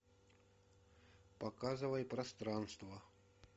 показывай пространство